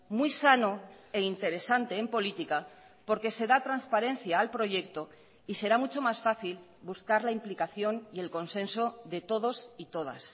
muy sano e interesante en política porque se da transparencia al proyecto y será mucho más fácil buscar la implicación y el consenso de todos y todas